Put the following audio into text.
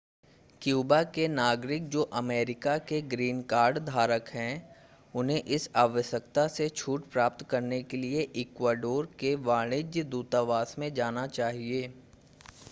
Cuba के नागरिक जो अमेरिका के ग्रीन कार्ड धारक हैं उन्हें इस आवश्यकता से छूट प्राप्त करने के लिए इक्वाडोर के वाणिज्य दूतावास में जाना चाहिए